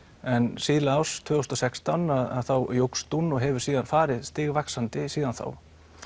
en síðla árs tvö þúsund og sextán að þá jókst hún og hefur síðan farið stigvaxandi síðan þá